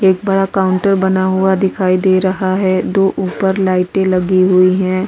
एक बड़ा काउंटर बना हुआ दिखाई दे रहा है दो ऊपर लाइटें लगी हुई हैं।